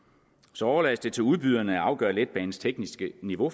så overlades det faktisk til udbyderne at afgøre letbanens tekniske niveau